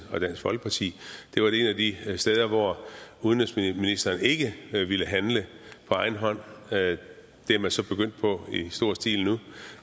og dansk folkeparti det var et af de steder hvor udenrigsministeren ikke ville handle på egen hånd det er man så begyndt på i stor stil nu